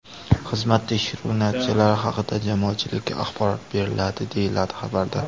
Xizmat tekshiruvi natijalari haqida jamoatchilikka axborot beriladi, deyiladi xabarda.